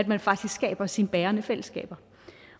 man faktisk skaber sine bærende fællesskaber